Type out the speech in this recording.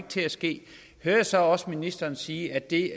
til at ske hører jeg så også ministeren sige at det